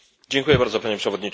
Panie Przewodniczący!